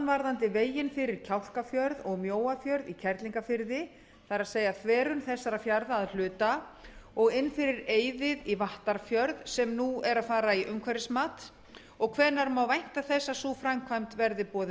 varðandi veginn fyrir kjálkafjörð og mjóafjörð í kerlingarfirði og inn fyrir eiðið í vattarfjörð sem nú er að fara í umhverfismat og hvenær má vænta þess að sú framkvæmd verði boðin